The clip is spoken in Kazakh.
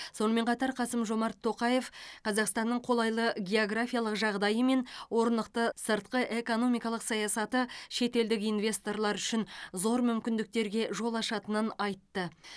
сонымен қатар қасым жомарт тоқаев қазақстанның қолайлы географиялық жағдайы мен орнықты сыртқы экономикалық саясаты шетелдік инвесторлар үшін зор мүмкіндіктерге жол ашатынын айтты